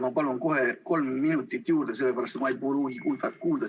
Ma palun kohe kolm minutit juurde, sellepärast et ma ei pruugi signaali kuulda.